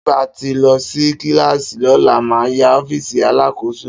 Tí bà tí lò sí kílìlàsí lólà mà yà ọfísì àlákòsó.